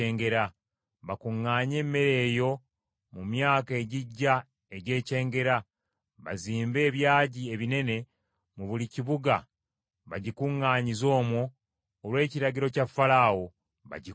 Bakuŋŋaanye emmere eyo mu myaka egijja egy’ekyengera, bazimbe ebyagi ebinene mu buli kibuga bagikuŋŋaanyize omwo olw’ekiragiro kya Falaawo, bagikuume.